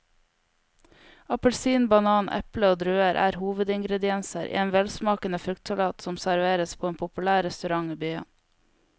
Appelsin, banan, eple og druer er hovedingredienser i en velsmakende fruktsalat som serveres på en populær restaurant i byen.